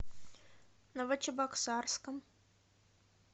новочебоксарском